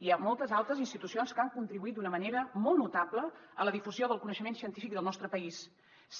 hi ha moltes altes institucions que han contribuït d’una manera molt notable a la difusió del coneixement científic del nostre país